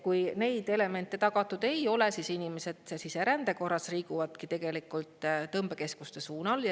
Kui neid elemente tagatud ei ole, siis inimesed siserände korras liiguvadki tegelikult tõmbekeskuste suunal.